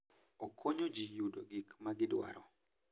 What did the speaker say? Okonyo ji yudo gik ma gidwaro.